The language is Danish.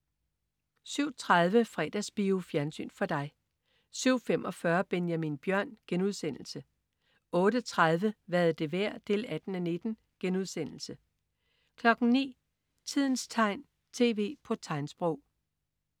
07.30 Fredagsbio. Fjernsyn for dig 07.45 Benjamin Bjørn* 08.30 Hvad er det værd? 18:19* 09.00 Tidens tegn, tv på tegnsprog